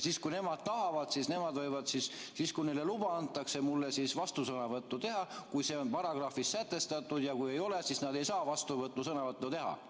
Siis, kui nemad tahavad, nemad võivad siis, kui neile luba antakse, mulle vastusõnavõttu teha, kui see on paragrahvis sätestatud, ja kui ei ole, siis nad ei saa vastusõnavõttu teha.